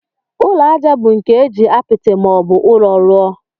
Ụlọ ajá bụ nke eji apịtị ma ọ bụ ụrọ́ rụọ.